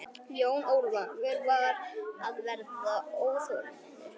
Jón Ólafur var að verða óþolinmóður.